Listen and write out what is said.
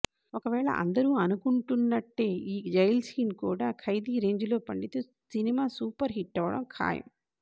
ఒకవేళ అందరూ అనుకుంటున్నట్టే ఈ జైల్ సీన్ కూడా ఖైదీ రేంజులో పండితే సినిమా సూపర్ హిట్టవడం ఖయాం